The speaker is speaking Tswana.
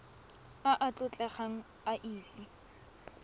a a tlotlegang a itse